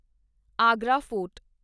Agra fort